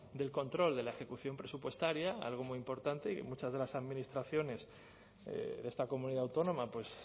del control de la ejecución presupuestaria algo muy importante y muchas de las administraciones de esta comunidad autónoma pues